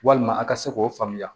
Walima a ka se k'o faamuya